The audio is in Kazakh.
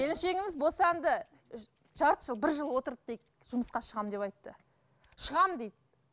келіншегіңіз босанды жарты жыл бір жыл отырды дейік жұмысқа шығамын деп айтты шығамын дейді